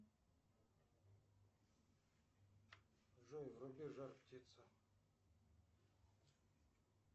джой вруби жар птица